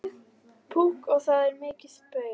Púkk og það er mikið spaugað.